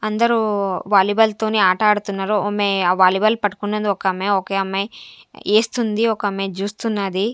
అందరూ వాలీబాల్ తోని ఆటాడ్తున్నారు ఒమె ఆ వాలీబాల్ పట్కున్నది ఒకామె ఒకే అమ్మాయ్ ఏస్తుంది ఒకమ్మాయ్ జూస్తున్నాది.